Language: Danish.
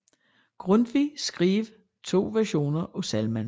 Grundtvig skrev to versioner af salmen